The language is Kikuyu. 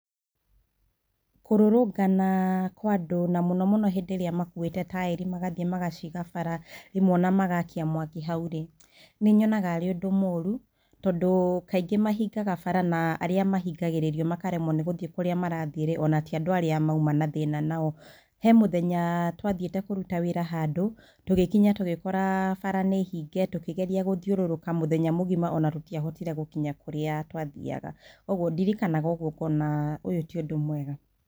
Kũrũrũngana kwa andũ mũno mũno hĩndĩ ĩrĩa makũĩte taĩri magathiĩ magaciga bara rĩmwe ona magakia mwaki hau rĩ nĩ nyonaga arĩ ũndũ mũru tondũ kaingĩ mahingaga bara na arĩa mahingagĩrĩrio makaremwo nĩ gũthiĩ kũrĩa marathiĩ rĩ ona ti andũ arĩa mauma na thĩna nao, he mũthenya twathiĩte kũruta wĩra handũ tũgĩkinya tũgĩkora bara nĩ hinge, tũkĩgeria gũthiũrũrũka mũthenya mũgima ona tũtiahotire gũthiĩ kũrĩa twathiaga ũguo ndirikana ũguo ngona ũyũ ti ũndũ mwega.